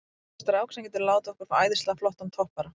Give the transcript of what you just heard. Ég veit um strák sem getur látið okkur fá æðislega flottan toppara.